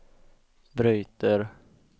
bryter